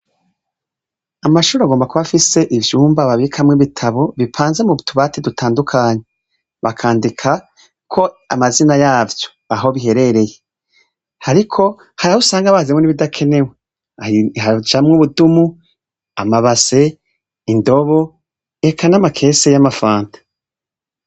Amashure agomba kuba afise ivyumba babikamwo ibitabo bipanze mu tubati dutandukanye bakandikako amazina yavyo aho biherereye, ariko harigihe usanga bazanamwo n'ibidakenewe, harajamwo ubudumu, amabase, indobo eka n'amakese y'amafanta.